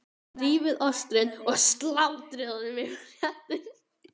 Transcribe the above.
Rífið ostinn og sáldrið honum yfir réttinn.